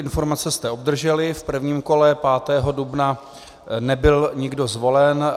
Informace jste obdrželi, v prvním kole 5. dubna nebyl nikdo zvolen.